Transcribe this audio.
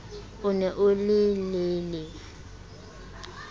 o ne o le lelele